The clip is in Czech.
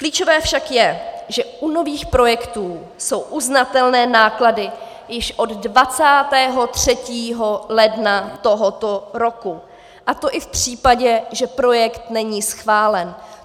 Klíčové však je, že u nových projektů jsou uznatelné náklady již od 23. ledna tohoto roku, a to i v případě, že projekt není schválen.